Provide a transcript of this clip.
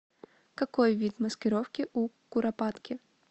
какой вид маскировки у куропатки